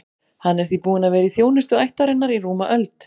Hann er því búinn að vera í þjónustu ættarinnar í rúma öld.